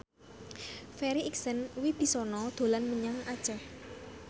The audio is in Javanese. Farri Icksan Wibisana dolan menyang Aceh